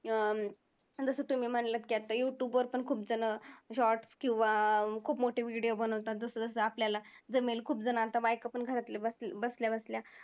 अं जसं तुम्ही म्हंटला की आत्ता YouTube वर पण खूपजणं shorts किंवा खूप मोठे video बनवतात जसं जसं आपल्याला जमेल, खुपजणांचा बायका पण घरातल्या बसल्या बसल्या